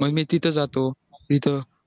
मग मी तिथं जातो तिथं